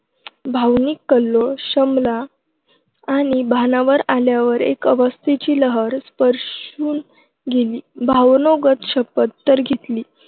भावनिक कल्लोळ शमला आणि भानावर आल्यावर एक अस्वस्थतेची लहर स्पर्शून गेली. भावनावेगात शपथ तर घेतली.